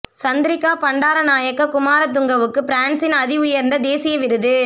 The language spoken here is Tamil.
சந்திரிகா பண்டாரநாயக்க குமாரதுங்கவுக்கு பிரான்ஸின் அதி உயர்ந்த தேசிய விருது